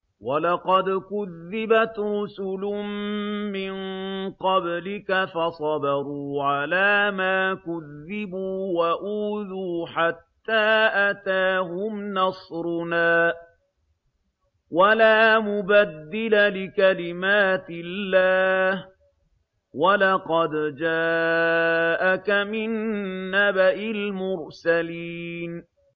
وَلَقَدْ كُذِّبَتْ رُسُلٌ مِّن قَبْلِكَ فَصَبَرُوا عَلَىٰ مَا كُذِّبُوا وَأُوذُوا حَتَّىٰ أَتَاهُمْ نَصْرُنَا ۚ وَلَا مُبَدِّلَ لِكَلِمَاتِ اللَّهِ ۚ وَلَقَدْ جَاءَكَ مِن نَّبَإِ الْمُرْسَلِينَ